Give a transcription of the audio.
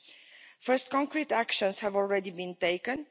The first concrete actions have already been taken.